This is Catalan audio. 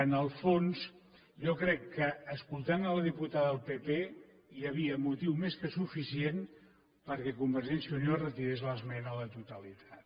en el fons jo crec que escoltant la diputada del pp hi havia motiu més que suficient perquè convergència i unió retirés l’esmena a la totalitat